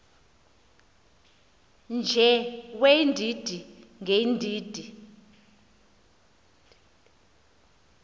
nje weendidi ngeendidi